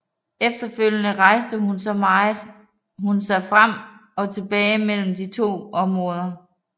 Efterfølgende rejste hun så frem og tilbage mellem de to områder